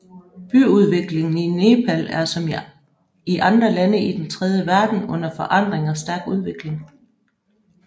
Byudviklingen i Nepal er som i andre lande i den tredje verden under forandring og stærk udvikling